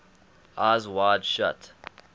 eyes wide shut